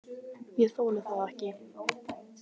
Ég þoli það ekki,